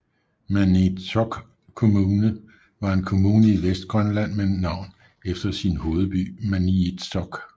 Maniitsoq Kommune var en kommune i Vestgrønland med navn efter sin hovedby Maniitsoq